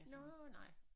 Nårh nej